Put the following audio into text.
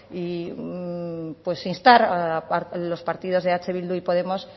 e instar a los partidos de eh bildu y podemos